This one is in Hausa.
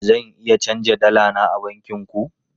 Zan iya canja dala na a bankin ku?